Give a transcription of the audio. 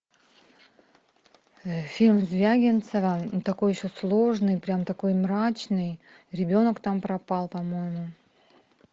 фильм звягинцева такой еще сложный прям такой мрачный ребенок там пропал по моему